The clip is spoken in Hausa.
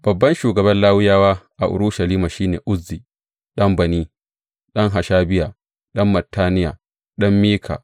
Babban shugaban Lawiyawa a Urushalima shi ne Uzzi ɗan Bani, ɗan Hashabiya, ɗan Mattaniya, ɗan Mika.